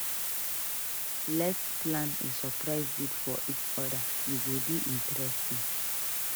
Let s plan a surprise date for each other; e go dey interesting.